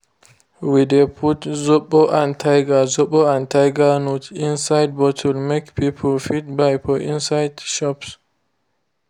we de put zobo and tiger zobo and tiger nut juice inside bottle make people fit buy for inside shops.